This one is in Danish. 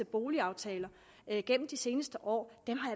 boligaftalerne gennem de seneste år